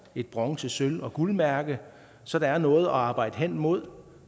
et bronze sølv og guldmærke så der er noget at arbejde hen imod